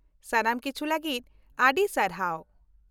ᱥᱟᱱᱟᱢ ᱠᱤᱪᱷᱩ ᱞᱟᱹᱜᱤᱫ ᱟᱹᱰᱤ ᱥᱟᱨᱦᱟᱣ ᱾